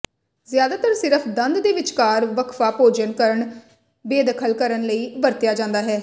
ਜਿਆਦਾਤਰ ਸਿਰਫ਼ ਦੰਦ ਦੇ ਵਿਚਕਾਰ ਵਕਫ਼ਾ ਭੋਜਨ ਕਣ ਬੇਦਖ਼ਲ ਕਰਨ ਲਈ ਵਰਤਿਆ ਜਾਦਾ ਹੈ